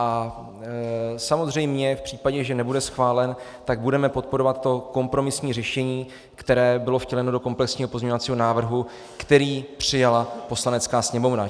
A samozřejmě v případě, že nebude schválen, tak budeme podporovat to kompromisní řešení, které bylo vtěleno do komplexního pozměňovacího návrhu, který přijala Poslanecká sněmovna.